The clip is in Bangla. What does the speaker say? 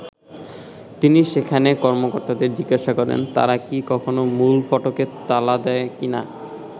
তিনি সেখানে কর্মকর্তাদের জিজ্ঞাসা করেন, তারা কি কখনো মূল ফটকে তালা দেয় কি না।